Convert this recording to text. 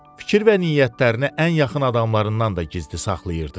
Fikir və niyyətlərini ən yaxın adamlarından da gizli saxlayırdı.